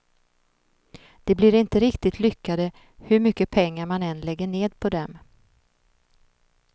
De blir inte riktigt lyckade, hur mycket pengar man än lägger ned på dem.